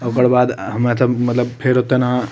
ओकर बाद अ मतलब मतलब फेर ओतना --